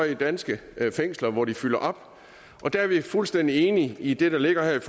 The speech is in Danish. i danske fængsler hvor de fylder op og der er vi fuldstændig enige i det der ligger her i